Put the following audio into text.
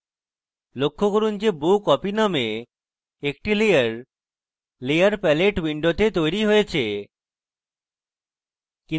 লক্ষ্য করুন যে bow copy named একটি layer layer palette window তৈরী হয়েছে